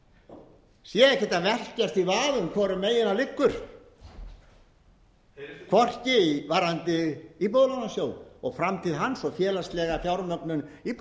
lýsa sé ekkert að velkjast í vafa um hvorum megin hann liggur hvorki varðandi íbúðalánasjóð og framtíð hans og félagslega fjármögnun